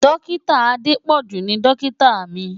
Dọ́kítà Adépọ̀jù ni dọ́kítà mi.